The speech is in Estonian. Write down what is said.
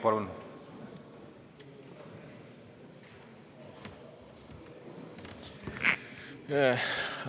Palun!